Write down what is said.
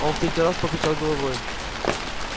он в третий раз покачал головой